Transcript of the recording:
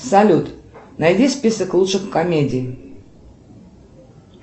салют найди список лучших комедий